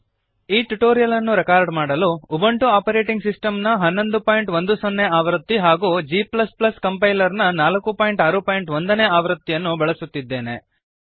ಈ ಟ್ಯುಟೋರಿಯಲ್ ಅನ್ನು ರೆಕಾರ್ಡ್ ಮಾಡಲು ಉಬುಂಟು ಆಪರೇಟಿಂಗ್ ಸಿಸ್ಟಮ್ ನ 1110 ಆವೃತ್ತಿ ಹಾಗೂ g ಕಂಪೈಲರ್ನ 461 ನೇ ಆವೃತ್ತಿಯನ್ನು ಬಳಸುತ್ತಿದ್ದೇನೆ